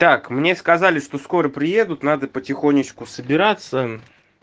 так мне сказали что скоро приедут надо потихонечку собираться